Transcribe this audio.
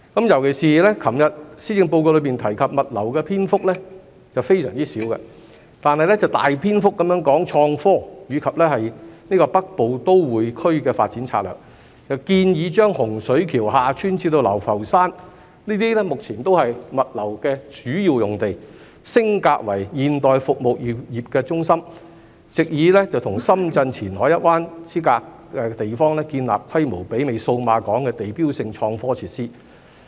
尤其是昨日施政報告中提及物流的篇幅非常少，但大篇幅談及創科和《北部都會區發展策略》，建議將洪水橋/厦村至流浮山，這些目前都是主要的物流用地，升格為現代服務業中心，藉以與深圳前海一灣之隔的地方，建立規模媲美數碼港的地標性創科設施。